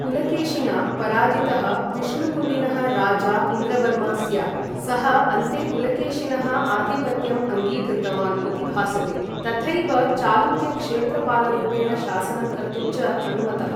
पुलकेशिना पराजितः विष्णुकुण्डिनः राजा इन्द्रवर्मा स्यात्, सः अन्ते पुलकेशिनः आधिपत्यम् अङ्गीकृतवान् इति भासते, तथैव चालुक्यक्षेत्रपालरूपेण शासनं कर्तुं च अनुमतः।